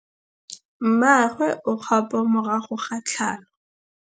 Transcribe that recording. Mmagwe o kgapô morago ga tlhalô.